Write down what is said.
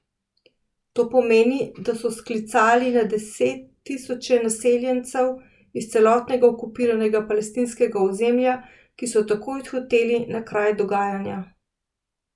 To pomeni, da so sklicali na deset tisoče naseljencev iz celotnega okupiranega palestinskega ozemlja, ki so takoj odhiteli na kraj dogajanja.